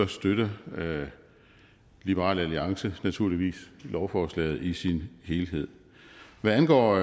støtter liberal alliance naturligvis lovforslaget i sin helhed hvad angår